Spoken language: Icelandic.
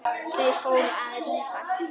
Þau fóru að rífast!